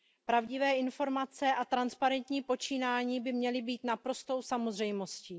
Pravdivé informace a transparentní počínání by měly být naprostou samozřejmostí.